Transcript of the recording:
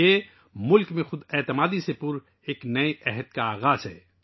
یہ ملک کے لئے خود اعتمادی سے بھرے ایک نئے دور کا آغاز ہے